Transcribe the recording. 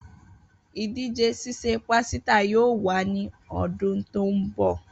Idije sise pasita yoo wa ni ọdun to nbọ.